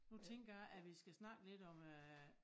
Nu tænker jeg at vi skal snakke lidt om øh